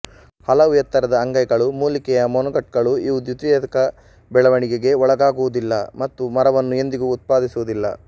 ಹಲವು ಎತ್ತರದ ಅಂಗೈಗಳು ಮೂಲಿಕೆಯ ಮೊನೊಕಟ್ಗಳು ಇವು ದ್ವಿತೀಯಕ ಬೆಳವಣಿಗೆಗೆ ಒಳಗಾಗುವುದಿಲ್ಲ ಮತ್ತು ಮರವನ್ನು ಎಂದಿಗೂ ಉತ್ಪಾದಿಸುವುದಿಲ್ಲ